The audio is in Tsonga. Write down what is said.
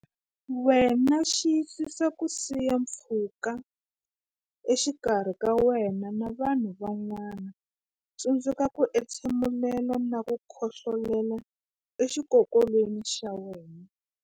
Wena Xiyisisa ku siya pfhuka exikarhi ka wena na vanhu van'wana Tsundzuka ku entshe mula na ku khohlolela exikokolweni xa wena.